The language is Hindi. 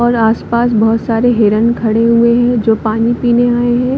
और आस-पास बहोत सारे हिरण खड़े हुए है जो पानी पीने आये है।